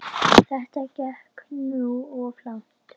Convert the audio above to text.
Þetta gekk nú of langt.